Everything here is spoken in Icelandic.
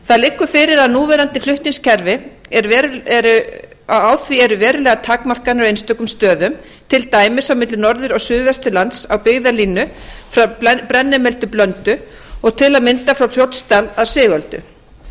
það liggur fyrir að á núverandi flutningskerfi eru verulegar takmarkanir á einstökum stöðum til dæmis á milli norður og suðvesturlands á byggðalínu frá brennimel til blöndu og til að mynda frá fljótsdal að sigöldu